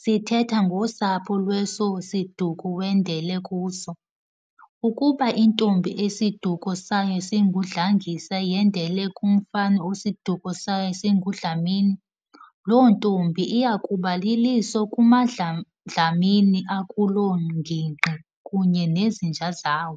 sithetha ngosapho lweso siduko wendele kuso. Ukuba intombi esiduko sayo singuNdlangisa yendele kumfana osiduko sayo singuDlamini, loo ntombi iyakuba liliso kumaDlamini akuloo ngingqi kunye nezinja zawo.